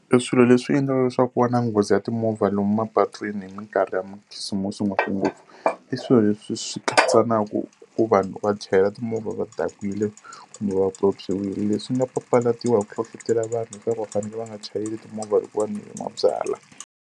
Eswilo leswi endlaka leswaku wa na nghozi ya timovha lomu mapatwini hi minkarhi ya Makhisimusi ngopfungopfu, i swilo leswi swi katsa na ku ku vanhu va chayela timovha va dakwile kumbe va pyopyiwile, leswi nga papalatiwa hi ku hlohletela vanhu leswaku va fanele va nga chayeli timovha loko va nwile mabyalwa.